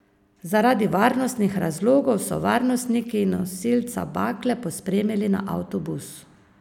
Zaradi varnostnih razlogov so varnostniki nosilca bakle pospremili na avtobus.